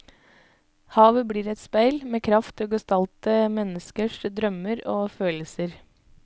Havet blir et speil med kraft til å gestalte menneskers drømmer og følelser.